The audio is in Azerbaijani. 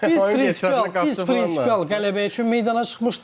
Biz prinsipial, biz prinsipial qələbə üçün meydana çıxmışdıq.